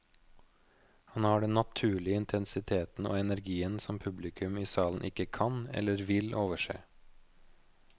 Han har den naturlige intensiteten og energien som publikum i salen ikke kan, eller vil, overse.